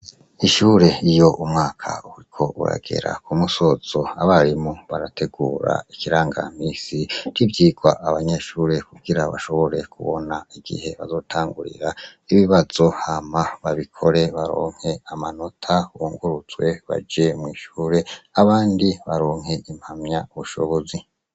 Ishure iyo umwaka uriko uragera ku musozo abarimu barategura ikirangamisi c'ivyirwa abanyeshure kugira bashobore kubona igihe bazotangurira ibibazo hama babikore baronke amanota bunguruzwe baje mw'ishure abandi baronke impamya bushobozi.